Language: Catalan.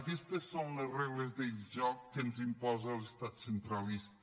aquestes són les regles del joc que ens imposa l’estat centralista